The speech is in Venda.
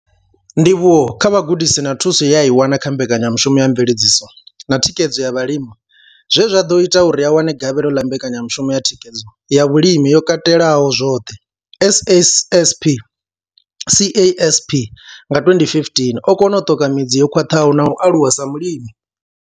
Ndivhuwo kha vhugudisi na thuso ye a i wana kha mbekanyamushumo ya mveledziso na thikhedzo ya vhalimi zwe zwa ḓo ita uri a wane gavhelo ḽa mbekanyamushumo ya thikhedzo ya zwa vhulimi yo katelaho zwoṱhe CASP nga 2015, o kona u ṱoka midzi yo khwaṱhaho na u aluwa sa mulimi.